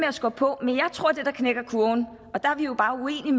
at skubbe på men jeg tror at det der knækker kurven og der er vi jo bare